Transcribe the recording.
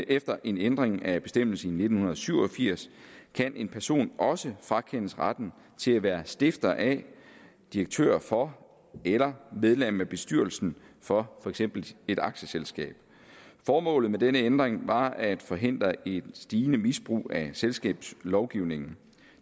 efter en ændring af bestemmelsen i nitten syv og firs kan en person også frakendes retten til at være stifter af direktør for eller medlem af bestyrelsen for for eksempel et aktieselskab formålet med denne ændring var at forhindre et stigende misbrug af selskabslovgivningen